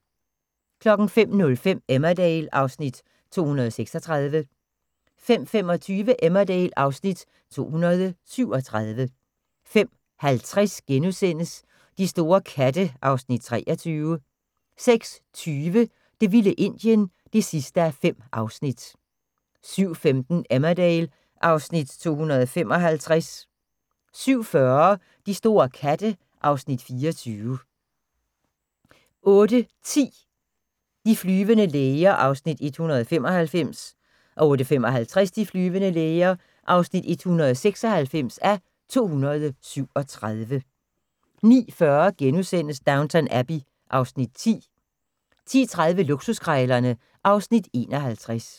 05:05: Emmerdale (Afs. 236) 05:25: Emmerdale (Afs. 237) 05:50: De store katte (Afs. 23)* 06:20: Det vilde Indien (5:5) 07:15: Emmerdale (Afs. 255) 07:40: De store katte (Afs. 24) 08:10: De flyvende læger (195:237) 08:55: De flyvende læger (196:237) 09:40: Downton Abbey (Afs. 10)* 10:30: Luksuskrejlerne (Afs. 51)